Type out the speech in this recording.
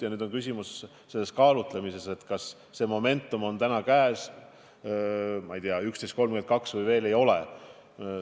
Ja nüüd on küsimus kaalutlusotsuses, kas see moment on täna, ma ei tea, kell 11.32 käes või veel ei ole.